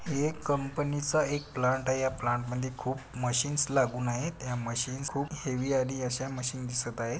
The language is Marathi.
हे एक कंपनी च एक प्लांट आहे या प्लांट मध्ये खूप मशीन्स लागून आहेत. त्या मशीन्स खूप हेवी आणि अशा मशिन्स दिसत आहे.